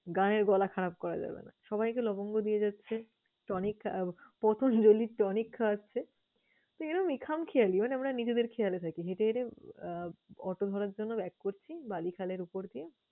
গানের গলা খারাপ করা যাবে না। সবাইকে লবঙ্গ দিয়ে যাচ্ছে tonic । প্রথম hero lead tonic খাওয়াচ্ছে। তো এরমই খামখেয়ালি মানে আমরা নিজেদের খেয়ালে থাকি। হেঁটে হেঁটে আহ auto ধরার জন্য back করছি বালিখালের উপর দিয়ে